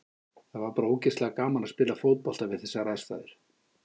Það var bara ógeðslega gaman að spila fótbolta við þessar aðstæður.